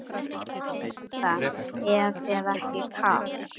Linda: Er þér ekki kalt?